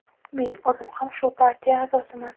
Men o‘zim ham shu partiya a’zosiman.